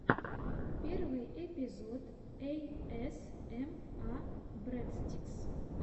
первый эпизод эйэсэма брэдстикс